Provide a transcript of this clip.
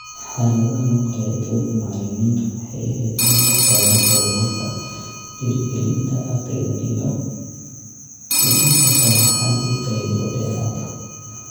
Xaaladdan oo kale, doorka macallimiintu waxay ahayd inay la socdaan horumarka, dhiirigelinta ardayda, iyo bixinta sharraxaad iyo taageero dheeraad ah.